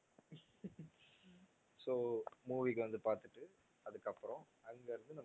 so movie க்கு வந்து பாத்துட்டு அதுக்கப்பறம் அங்க இருந்து